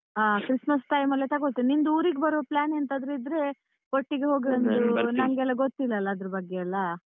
ಹ Christmas time ಅಲ್ಲೇ ತಗೋಳ್ತೇನೆ ನಿಂದು ಊರಿಗ್ ಬರುವ plan ಎಂತಾದ್ರೂ ಇದ್ರೆ ಒಟ್ಟಿಗೇ ನಂಗೆಲ್ಲ ಗೊತ್ತಿಲ್ಲ ಅಲ್ಲಾ ಅದ್ರ ಬಗ್ಗೆ ಎಲ್ಲ.